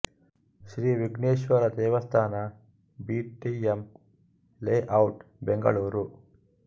ಶ್ರೀ ವಿಘ್ನೇಶ್ವರ ದೇವಸ್ಥಾನ B T M layout Bengaluru